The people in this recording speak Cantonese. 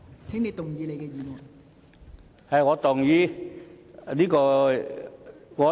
請動議你的議案。